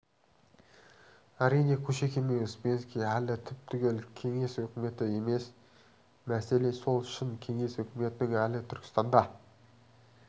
әрине кушекин мен успенский әлі түп-түгел кеңес өкіметі емес мәселе сол шын кеңес өкіметінің әлі түркістанда